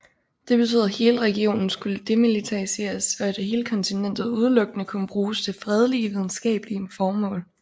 Den betød at hele regionen skulle demilitariseres og at hele kontinentet udelukkende kunne bruges til fredelige videnskabelige formål